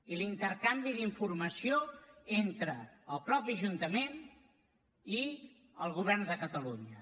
i l’intercanvi d’informació entre el mateix ajuntament i el govern de catalunya